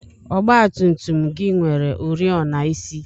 ọgba tum tum gị nwere oriọna isi?